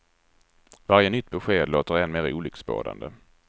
Varje nytt besked låter än mer olycksbådande.